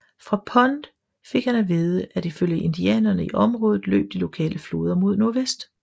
Fra Pond fik han at vide at i følge indianerne i området løb de lokale floder mod nordvest